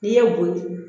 N'i ye boyo